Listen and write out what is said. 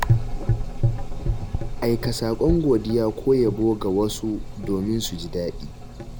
Aika saƙon godiya ko yabo ga wasu domin su ji daɗi.